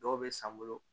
Dɔw bɛ san bolo